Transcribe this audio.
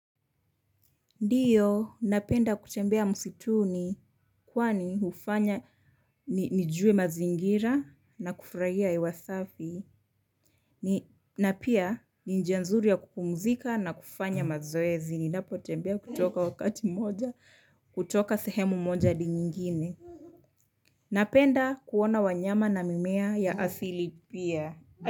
Ndiyo, napenda kutembea msituni, kwani hufanya nijue mazingira na kufurahia hewa safi, na pia ni njia nzuri ya kupumzika na kufanya mazoezi, ninapo tembea kutoka wakati moja, kutoka sehemu moja adi nyingine. Napenda kuona wanyama na mimea ya asili pia.